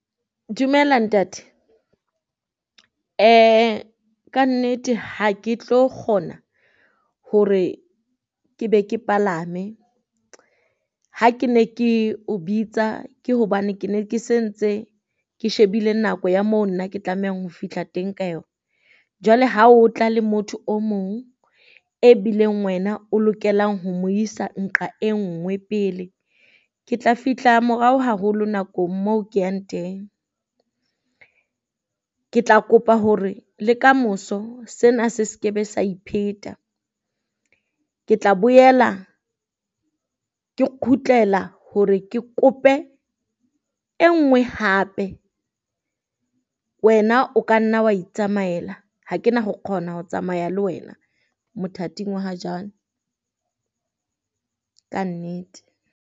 Dumela ntate, kannete ha ke tlo kgona hore ke be ke palame ha ke ne ke o bitsa, ke hobane ke ne ke se ntse ke shebile nako ya mo nna ke tlamehang ho fihla teng ka yona. Jwale ha o tla le motho o mong e bileng wena o lokelang ho mo isa nqa e nngwe pele, ke tla fihla morao haholo nakong moo ke yang teng. Ke tla kopa hore le kamoso sena se skebe sa ipheta, ke tla boela ke kgutlela hore ke kope e ngwe hape. Wena o ka nna wa itsamaela ha ke na ho kgona ho tsamaya le wena mothating wa ha jwalo kannete.